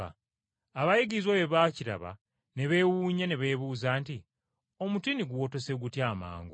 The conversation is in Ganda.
Abayigirizwa bwe baakiraba ne beewuunya ne beebuuza nti, “Omutiini guwotose gutya amangu?”